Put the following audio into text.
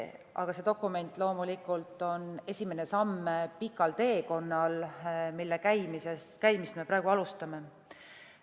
Aga see dokument on loomulikult esimene samm pikal teekonnal, mille käimist me praegu alustame.